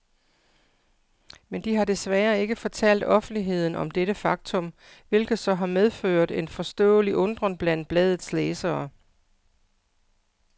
Men de har desværre ikke fortalt offentligheden om dette faktum, hvilket så har medført en forståelig undren blandt bladets læsere.